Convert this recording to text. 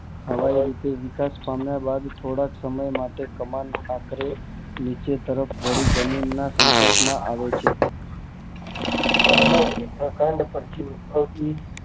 હવાઈ રીતે વિકાસ પામે થોડાક એમાંય માટે કમાન સશત માટે નીચે તરફ વળી જમીન ના સંપકાર માં આવે છે